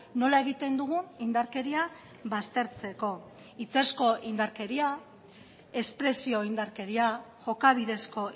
nola egiten dugun indarkeria baztertzeko hitzezko indarkeria espresio indarkeria jokabidezko